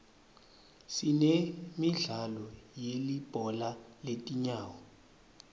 sinemidlalo yelibhola letinyawo